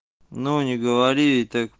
ну не говори так